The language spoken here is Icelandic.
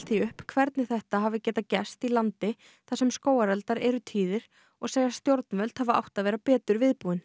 því upp hvernig þetta hafi getað gerst í landi þar sem skógareldar eru tíðir og segja stjórnvöld hafa átt að vera betur viðbúin